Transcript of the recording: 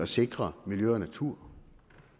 sikre miljø og natur